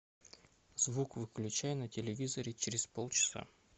звук выключай на телевизоре через полчаса